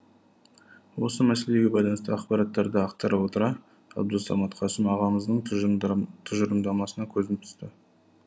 осы мәселеге байланысты ақпараттарды ақтара отыра абдусамат қасым ағамыздың тұжырымдамасына көзім түсті